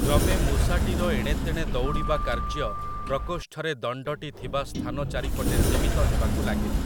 କ୍ରମେ ମୂଷାଟିର ଏଣେ ତେଣେ ଦଉଡ଼ିବା କାର୍ଯ୍ୟ ପ୍ରକୋଷ୍ଠରେ ଦଣ୍ଡଟି ଥିବା ସ୍ଥାନ ଚାରିପଟେ ସୀମିତ ହେବାକୁ ଲାଗିଲା ।